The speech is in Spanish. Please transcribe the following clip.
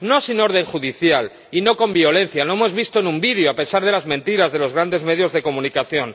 No sin orden judicial y no con violencia —lo hemos visto en un vídeo a pesar de las mentiras de los grandes medios de comunicación—.